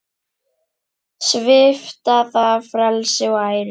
Svipta það frelsi og æru.